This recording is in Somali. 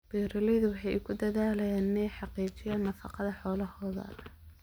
Beeraleydu waxay ku dadaalaan inay xaqiijiyaan nafaqada xoolahooda.